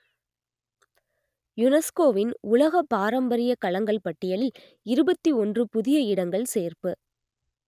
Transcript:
யுனெஸ்கோவின் உலக பாரம்பரியக் களங்கள் பட்டியலில் இருபத்தி ஒன்று புதிய இடங்கள் சேர்ப்பு